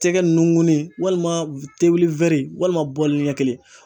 Tɛgɛ nugunin walima walima bɔlinin ɲɛ kelen.